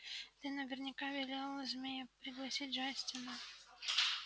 ты наверняка велел змее проглотить джастина